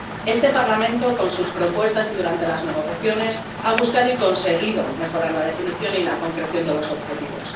Este Parlamento, con sus propuestas y durante las negociaciones, ha buscado y conseguido mejorar la definición y la concreción de los objetivos.